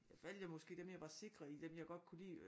Jeg valgte jo måske dem jeg var sikre i dem jeg godt kunne lide